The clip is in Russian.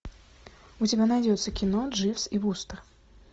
у тебя найдется кино дживс и вустер